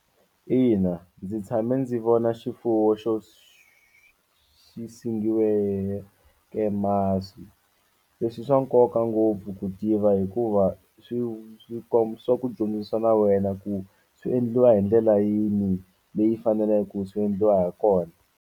Ina ndzi tshame ndzi vona xifuwo xo xi sengiweke masi leswi swa nkoka ngopfu ku tiva hikuva swi komba swa ku dyondzisa na wena ku swi endliwa hi ndlela yini leyi faneleke ku swi endliwa hakona.